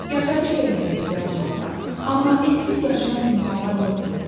Yaşayış yerinə də ehtiyacımız var, amma evsiz yaşayan insanlar yoxdu?